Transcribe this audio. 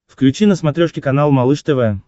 включи на смотрешке канал малыш тв